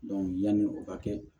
yanni o ka kɛ